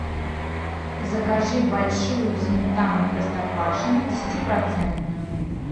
закажи большую сметану простоквашино десяти процентную